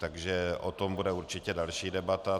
Takže o tom bude určitě další debata.